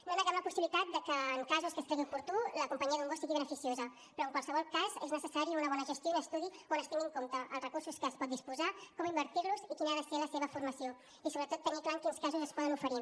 no neguem la possibilitat de que en casos en què es cregui oportú la companyia d’un gos sigui beneficiosa però en qualsevol cas és necessari una bona gestió i un estudi on es tinguin en compte els recursos de què es pot disposar com invertir los i quina ha de ser la seva formació i sobretot tenir clar en quins casos es poden oferir